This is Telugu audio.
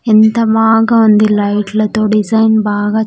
ఎంత బాగా ఉంది లైట్ లతో డిజైన్ బాగా.